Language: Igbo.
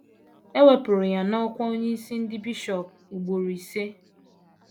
E wepụrụ ya n’ọ́kwá onyeisi ndị bishọp ugboro ise.